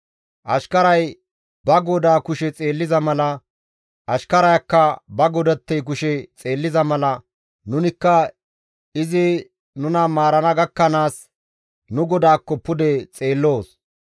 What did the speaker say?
Ashkaray ba godaa kushe xeelliza mala, ashkarayakka ba godattey kushe xeelliza mala, nunikka izi nuna maarana gakkanaas nu GODAAKKO pude xeelloos.